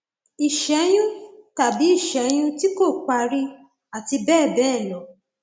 ìṣẹyún tàbí ìṣẹyún tí kò parí àti bẹẹ bẹẹ lọ